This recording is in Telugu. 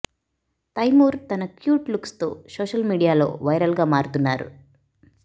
తైమూర్ తన క్యూట్ లుక్స్ తో సోషల్ మీడియాలో వైరల్ గా మారుతున్నారు